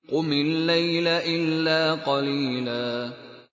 قُمِ اللَّيْلَ إِلَّا قَلِيلًا